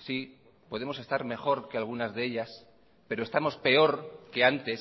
sí podemos estar mejor que algunas de ellas pero estamos peor que antes